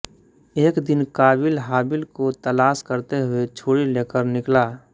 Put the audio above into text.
एक दिन क़ाबील हाबील को तलाश करते हुए छुरी लेकर निकला